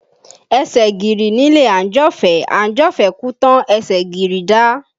Ẹsẹ̀ gìrì nílé àńjọ̀fẹ́, àńjọ̀fẹ́ kú tán ẹsẹ̀ gìrì dá